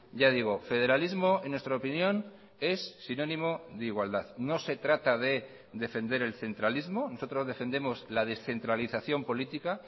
ya digo federalismo en nuestra opinión es sinónimo de igualdad no se trata de defender el centralismo nosotros defendemos la descentralización política